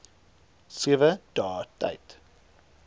sewe dae tyd